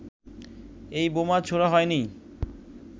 এই বোমা ছোঁড়া হয়নি